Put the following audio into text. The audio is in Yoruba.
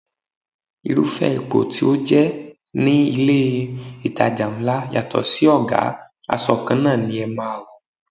Irúfẹ́ ipò tí o jẹ ní ilé itàjà ńlá yàtọ̀ sí ọ̀gá, aṣọ kanna ni ẹ máa wò.